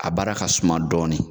A baara ka suma dɔɔnin.